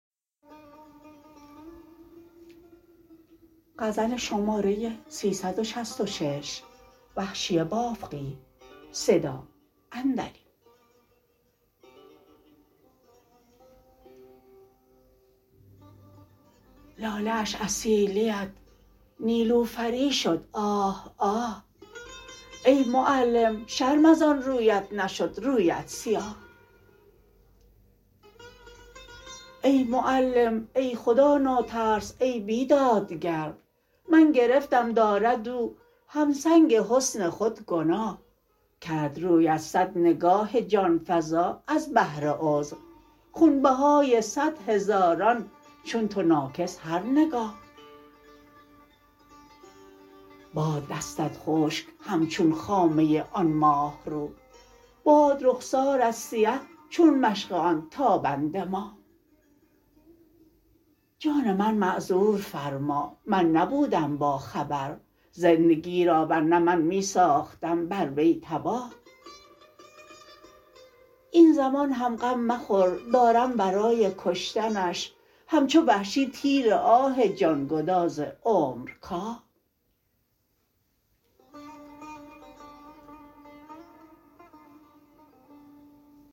لاله اش از سیلیت نیلوفری شد آه آه ای معلم شرم از آن رویت نشد رویت سیاه ای معلم ای خدا ناترس ای بیدادگر من گرفتم دارد او همسنگ حسن خود گناه کرد رویت سد نگاه جان فزا ازبهر عذر خونبهای سد هزاران چون تو ناکس هر نگاه باد دستت خشک همچون خامه آن ماهرو باد رخسارت سیه چون مشق آن تابنده ماه جان من معذور فرما من نبودم با خبر زندگی را ورنه من می ساختم بر وی تباه این زمان هم غم مخور دارم برای کشتنش همچو وحشی تیر آه جان گداز عمر کاه